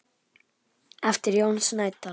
eftir Jón Snædal